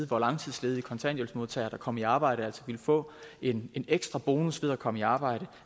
hvor langtidsledige kontanthjælpsmodtagere der kom i arbejde altså ville få en ekstra bonus ved at komme i arbejde